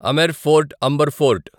Amer fort Amber fort